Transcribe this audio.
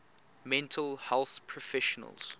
mental health professionals